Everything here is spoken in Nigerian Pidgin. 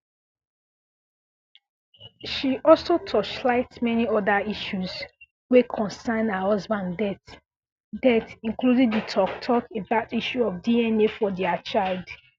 she also torchlight many oda issues wey concern her husband death death including di tok tok about issue of dna for dia child